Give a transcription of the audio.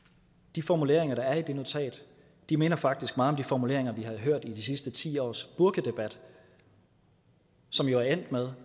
de formuleringer der er i det notat minder faktisk meget om de formuleringer vi har hørt i de sidste ti års burkadebat som jo er endt med